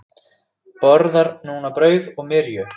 Borðar núna brauð og myrju.